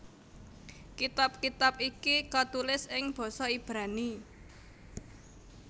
Kitab kitab iki katulis ing basa Ibrani